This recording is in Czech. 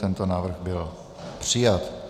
Tento návrh byl přijat.